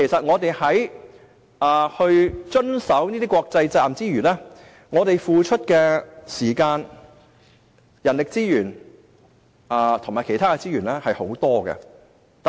我們為了遵守這些國際責任，付出的時間、人力資源及其他資源非常多。